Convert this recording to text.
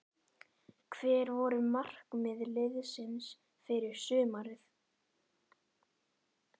Hver voru markmið liðsins fyrir sumarið?